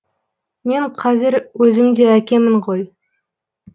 мен қазір өзім де әкемін ғой